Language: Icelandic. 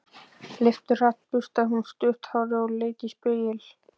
Leifturhratt burstaði hún stutt hárið og leit í spegil.